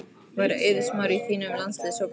Væri Eiður Smári í þínum landsliðshóp fyrir EM?